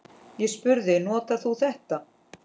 Ég spurði: Notar þú þetta?